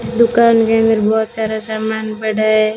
इस दुकान के अंदर बहोत सारा सामान पड़ा है।